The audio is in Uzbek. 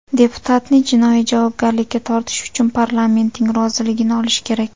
Deputatni jinoiy javobgarlikka tortish uchun parlamentning roziligini olish kerak.